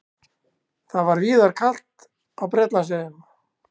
Það var víðar kalt á Bretlandseyjum